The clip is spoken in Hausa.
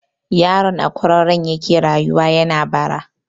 Yaron a kwararon yake rayuwa yana bara.